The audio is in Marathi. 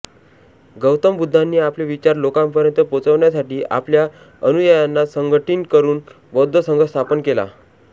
गौतम बुद्धांनी आपले विचार लोकांपर्यंत पोचवण्यासाठी आपल्या अनुयायांना संघटिन करून बौद्ध संघ स्थापन केला